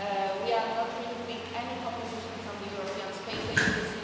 We are not removing any competition from the European Space Agency.